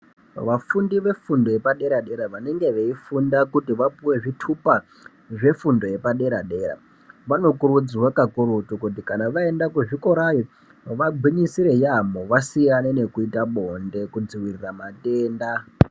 Vafundi vefundo yepadera dera vanenge veifunda kuti vapuwe zvitupa zvefundo yepadera dera vanokurudzirwa kakurutu kuti kana vaenda kuzvikorayo vagwinyisire yamho vasiyane nekuita bonde kudzivirira matenda.